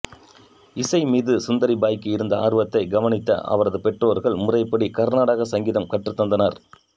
இசை மீது சுந்தரிபாய்க்கு இருந்த ஆர்வத்தை கவனித்த அவரது பெற்றோர்கள் முறைப்படி கர்நாடக சங்கீதம் கற்றுத் தந்தனர்